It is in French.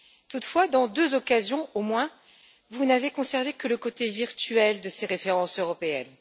Toutefois, à deux occasions au moins, vous n'avez conservé que le côté virtuel de ces références européennes.